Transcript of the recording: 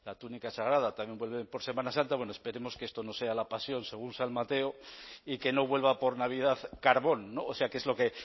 túnica sagrada también vuelve por semana santa bueno esperemos que esto no sea la pasión según san mateo y que no vuelva por navidad carbón o sea que es lo que